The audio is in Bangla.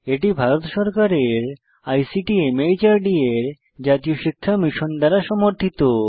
এটি ভারত সরকারের আইসিটি মাহর্দ এর জাতীয় শিক্ষা মিশন দ্বারা সমর্থিত